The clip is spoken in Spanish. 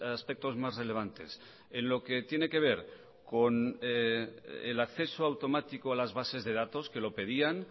aspectos más relevantes en lo que tiene que ver con el acceso automático a las bases de datos que lo pedían